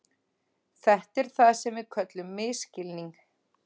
Þetta er það sem við köllum misskilning.